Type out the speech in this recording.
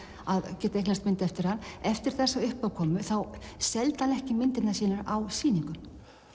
að geta eignast mynd eftir hann eftir þessa uppákomu þá seldi hann ekki myndirnar sínar á sýningum